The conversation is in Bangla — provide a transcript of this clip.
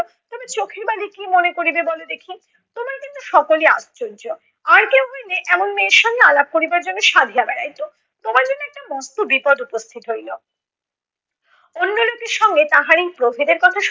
তবে চোখের বালি কী মনে করিবে বল দেখি? তোমরা কিন্তু সকলই আশ্চর্য। আর কেউ হইলে এমন মেয়ের সঙ্গে আলাপ করিবার জন্য সাধিয়া বেড়াইত। তোমার যেনো একটা মস্ত বিপদ উপস্থিত হইল। অন্য লোকের সঙ্গে তাহার এই প্রভেদের কথা